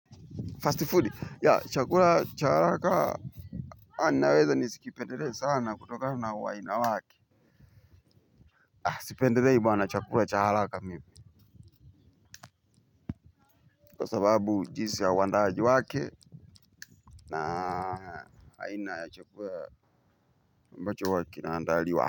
Fast food ya chakula cha haraka. Ah naweza nisikipendele sana kutokana na uaina wake. Sipendelei bwana chakula cha haraka mimi. Kwa sababu jinsi ya uandaaji wake na aina ya chakula ambacho huwa kinaandaliwa.